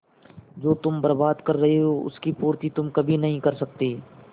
जो तुम बर्बाद कर रहे हो उसकी पूर्ति तुम कभी नहीं कर सकते